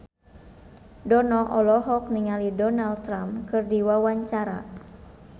Dono olohok ningali Donald Trump keur diwawancara